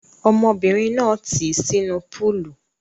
Ọmọbìnrin náà tì í sínú púúlù.